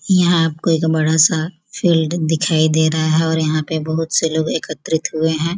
यहाँ आपको एक बड़ा सा फील्ड दिखाई दे रहा है और यहाँ पे बहुत से लोग एकत्रित होए हैं।